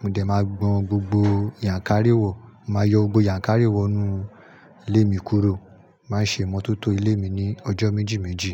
mo dẹ̀ máa gbọn gbogbo yànkárí wọ̀, màá yọ gbogbo yànkárí wọ̀ nù ilé mi kúrò. Màá ṣe ìmọ́tótó ilé mi ní ọjọ́ méjì méjì.